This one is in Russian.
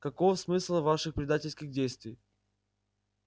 каков смысл ваших предательских действий